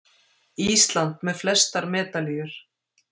Ísland með flestar medalíur